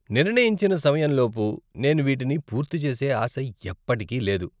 నిర్ణయించిన సమయం లోపు నేను వీటిని పూర్తి చేసే ఆశ ఎప్పటికీ లేదు.